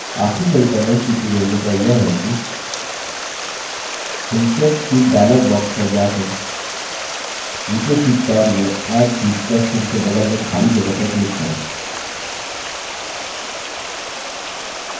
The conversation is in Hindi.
आखिरी तरीका नई sheet को जोड़ने का यह है कि insert sheet dialog box पर जाकर नीचे sheet टैब में add sheet plus चिन्ह के बगल में खाली जगह पर क्लिक करें